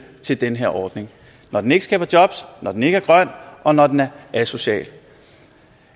til den her ordning når den ikke skaber jobs når den ikke er grønt og når den er asocial